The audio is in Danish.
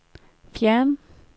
fjern